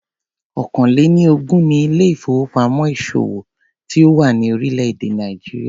Ọ̀kàn-lé-ni-ogún ni ilé ìfowópamọ́ ìṣòwò tí ó wà ní orílé èdè Nàìjíríà.